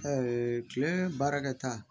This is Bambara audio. kile baarakɛta